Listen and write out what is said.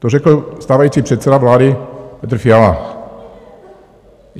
To řekl stávající předseda vlády Petr Fiala.